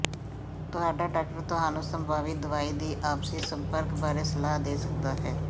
ਤੁਹਾਡਾ ਡਾਕਟਰ ਤੁਹਾਨੂੰ ਸੰਭਾਵਿਤ ਦਵਾਈ ਦੀ ਆਪਸੀ ਸੰਪਰਕ ਬਾਰੇ ਸਲਾਹ ਦੇ ਸਕਦਾ ਹੈ